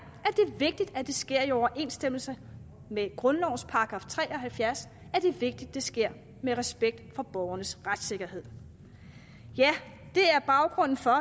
vigtigt at det sker i overensstemmelse med grundlovens § tre og halvfjerds det er vigtigt at det sker med respekt for borgernes retssikkerhed det er baggrunden for